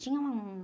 Tinha um